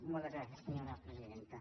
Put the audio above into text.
moltes gràcies senyora presidenta